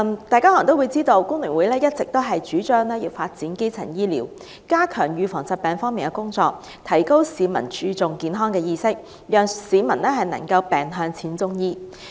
大家可能也知道，工聯會一直主張發展基層醫療、加強預防疾病、提高市民注重健康的意識，讓市民能夠"病向淺中醫"。